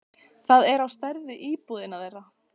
Það er á stærð við íbúðina þeirra.